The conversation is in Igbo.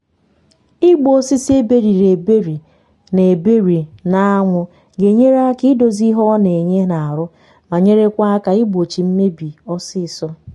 ịgba osisi eberiri eberi na eberi na anwụ ga enyere aka idozi ihe ọ na enye na arụ ma nyerekwa aka igbochị mmebi ọsịsọ